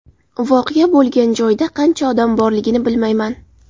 Voqea bo‘lgan joyda qancha odam borligini bilmayman.